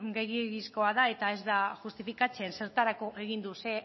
gehiegizkoa da eta ez da justifikatzen zertarako egin du ze